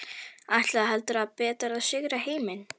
Ætluðu heldur betur að sigra heiminn.